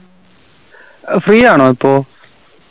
ഏർ free ആണോ ഇപ്പൊ